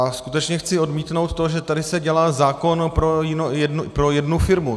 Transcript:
A skutečně chci odmítnout to, že tady se dělá zákon pro jednu firmu.